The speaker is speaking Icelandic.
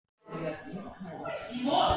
Það verður spennandi að sjá hverju fram vindur.